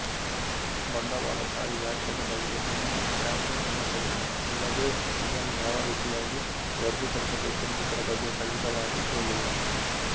ಬಂಡವಾಳ ಶಾಹಿ ವ್ಯಾಖ್ಯದ ಬಗ್ಗೆ ಇನ್ನೂ ಯಾವದೇ ಒಮ್ಮತವಿಲ್ಲ ಅಲ್ಲದೇ ಇದನ್ನು ಯಾವ ರೀತಿಯಾಗಿ ವರ್ಗೀಕರಿಸಬೇಕೆಂಬುದರ ಬಗ್ಗೆ ಖಚಿತವಾಗಿ ಹೇಳಿಲ್ಲ